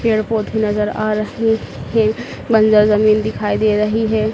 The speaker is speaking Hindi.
पेड़ पौधे नजर आ रहे हैं बंजर जमीन दिखाई दे रही है।